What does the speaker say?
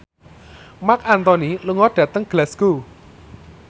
Marc Anthony lunga dhateng Glasgow